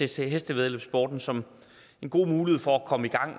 til hestevæddeløbssporten som en god mulighed for at komme i gang